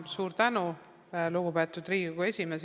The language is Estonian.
Suur tänu, lugupeetud Riigikogu esimees!